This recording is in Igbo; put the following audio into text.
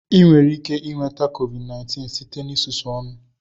Ị nwere ike nweta Covid19